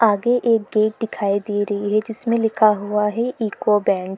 आगे एक गेट दिखाई दे रही है जिसमें लिखा हुआ है इकोबैंड ।